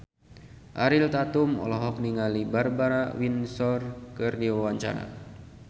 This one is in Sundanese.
Ariel Tatum olohok ningali Barbara Windsor keur diwawancara